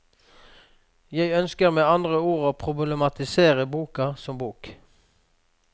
Jeg ønsker med andre ord å problematisere boka som bok.